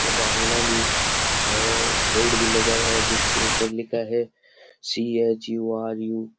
हुआ है भी है बोर्ड भी लगा है जिसपे ऊपर लिखा है सी_एच्_यू_आर_यू --